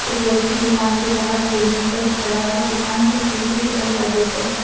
व्यक्ति दुकान के बाहर सीढ़ियों पर खड़ा है दुकान के शीशे के दरवाजे पर।